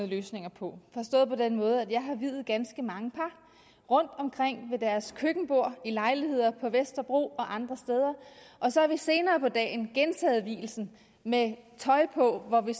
løsninger på forstået på den måde at jeg har viet ganske mange par rundtomkring ved deres køkkenbord i lejligheder på vesterbro og andre steder og så har vi senere på dagen gentaget vielsen med tøj på hvor vi